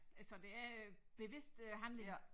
Altså det er øh bevidst øh handling